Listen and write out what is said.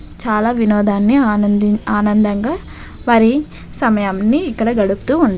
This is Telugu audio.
చాలా వినోదాన్ని ఆనంది ఆనందంగా వరి సమయాన్ని ఇక్కడ గడుపుతూ ఉన్న --